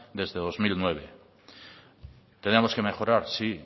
desde dos mil nueve tenemos que mejorar sí